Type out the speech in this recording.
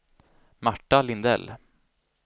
Marta Lindell